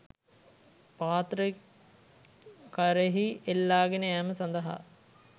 පාත්‍රය කරෙහි එල්ලාගෙන යෑම සඳහා